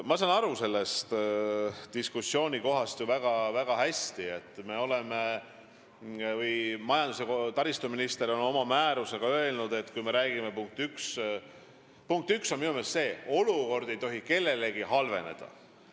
Ma saan väga hästi aru diskussioonikohast, sellest, mida majandus- ja taristuminister on oma määrusega öelnud, aga punkt üks on minu meelest see, et olukord ei tohi halveneda.